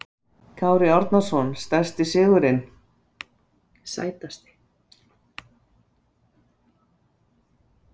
Kári Árnason Sætasti sigurinn?